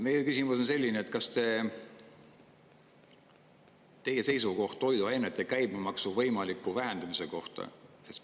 Meie küsimus on selline: mis on teie seisukoht toiduainete käibemaksu võimaliku vähendamise kohta?